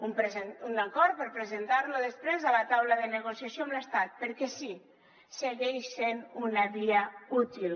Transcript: un acord per presentar lo després a la taula de negociació amb l’estat perquè sí segueix sent una via útil